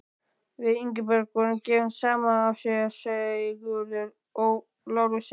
Við Ingibjörg voru gefin saman af séra Sigurði Ó. Lárussyni.